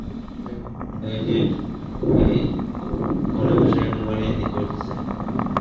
ওইযে অ্যাঁ ঘরে বসে mobile এ দেখে হইতেছে.